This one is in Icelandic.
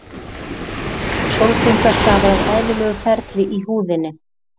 Sólbrúnka stafar af eðlilegu ferli í húðinni.